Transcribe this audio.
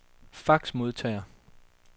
faxmodtager